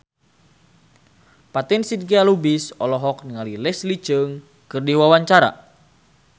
Fatin Shidqia Lubis olohok ningali Leslie Cheung keur diwawancara